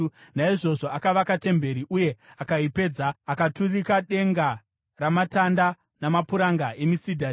Naizvozvo akavaka temberi, uye akaipedza, akaturika denga ramatanda namapuranga emisidhari.